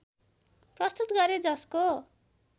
प्रस्तुत गरे जसको